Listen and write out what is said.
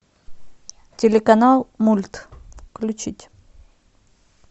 телеканал мульт включить